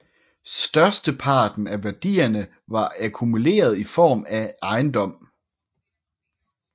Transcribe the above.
Størsteparten af værdierne var akkumuleret i form af ejendom